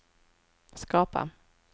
skapa